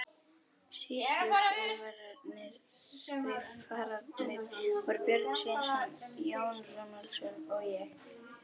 Sýsluskrifararnir voru Björn Sveinsson, Jón Runólfsson og ég.